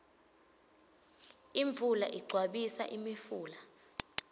imvula igcwabisa imifula